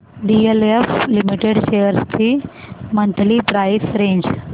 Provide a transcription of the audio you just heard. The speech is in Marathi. डीएलएफ लिमिटेड शेअर्स ची मंथली प्राइस रेंज